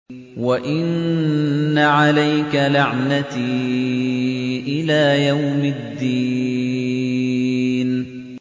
وَإِنَّ عَلَيْكَ لَعْنَتِي إِلَىٰ يَوْمِ الدِّينِ